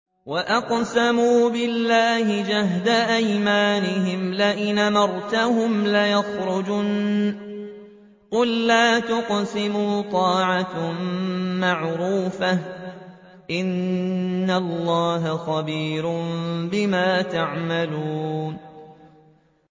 ۞ وَأَقْسَمُوا بِاللَّهِ جَهْدَ أَيْمَانِهِمْ لَئِنْ أَمَرْتَهُمْ لَيَخْرُجُنَّ ۖ قُل لَّا تُقْسِمُوا ۖ طَاعَةٌ مَّعْرُوفَةٌ ۚ إِنَّ اللَّهَ خَبِيرٌ بِمَا تَعْمَلُونَ